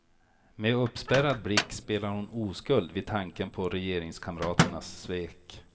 Med uppspärrad blick spelar hon oskuld vid tanken på regeringskamraternas svek.